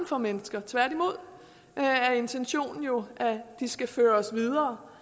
for mennesker tværtimod er intentionen jo at de skal føres videre